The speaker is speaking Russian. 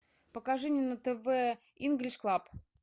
покажи мне на тв инглиш клаб